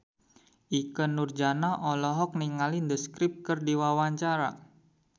Ikke Nurjanah olohok ningali The Script keur diwawancara